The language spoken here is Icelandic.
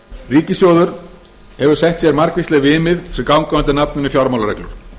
ríkissjóður hefur sett sér margvísleg viðmið sem ganga undir nafninu fjármálareglur